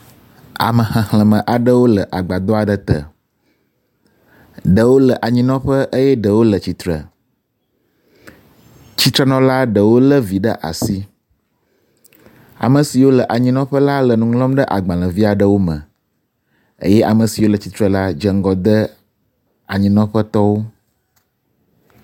Ame xexleme aɖewo le agbadɔ aɖe te. Ɖewo le anyinɔƒe eye ɖewo le tsitre. Tsitrenɔla ɖewo le viwo ɖe asi. Ame siwo le anyinɔƒe la le nu ŋlɔm ɖe agbalevi aɖewo eye ame siwo le tsitre la dze ŋgɔ de anyinɔƒetɔwo.